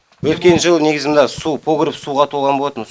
өткен жылы негізі мына су погреб суға толған болатын